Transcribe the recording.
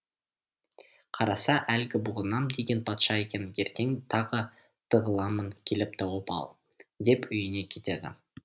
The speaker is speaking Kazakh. қараса әлгі бұғынам деген патша екен ертең тағы тығыламын келіп тауып ал деп үйіне кетеді